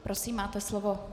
Prosím, máte slovo.